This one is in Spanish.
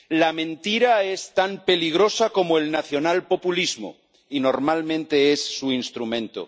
La mentira es tan peligrosa como el nacionalpopulismo, y normalmente es su instrumento.